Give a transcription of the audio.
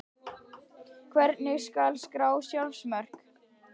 Hvernig skal skrá sjálfsmörk?